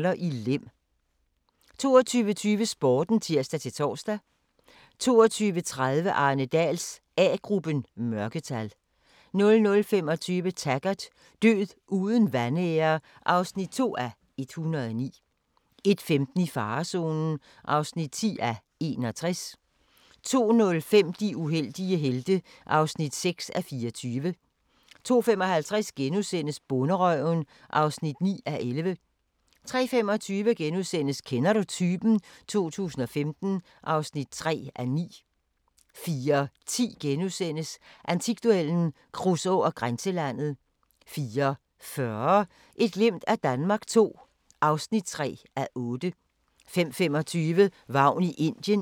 22:20: Sporten (tir-tor) 22:30: Arne Dahls A-gruppen: Mørketal 00:25: Taggart: Død uden vanære (2:109) 01:15: I farezonen (10:61) 02:05: De uheldige helte (6:24) 02:55: Bonderøven (9:11)* 03:25: Kender du typen? 2015 (3:9)* 04:10: Antikduellen – Kruså og Grænselandet * 04:40: Et glimt af Danmark II (3:8) 05:25: Vagn i Indien (Afs. 6)